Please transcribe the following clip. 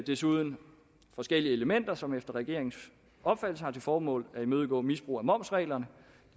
desuden forskellige elementer som efter regeringens opfattelse har til formål at imødegå misbrug af momsreglerne